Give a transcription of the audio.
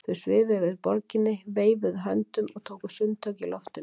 Þau svifu yfir borginni, veifuðu höndunum og tóku sundtök í loftinu.